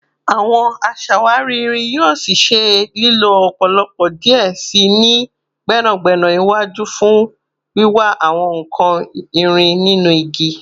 Awọn aṣawari irin yoo ṣee ṣe lilo lọpọlọpọ diẹ sii ni gbẹnagbẹna iwaju fun wiwa awọn nkan irin ninu igi